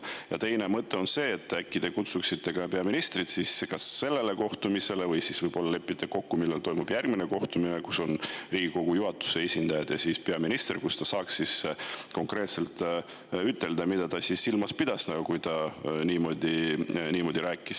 Ja teine mõte on see, et äkki te kutsute ka peaministri sellele kohtumisele või lepite kokku järgmise kohtumise, kus on Riigikogu juhatuse esindajad ja peaminister, et ta saaks konkreetselt ütelda, mida ta silmas pidas, kui ta siin saalis niimoodi rääkis.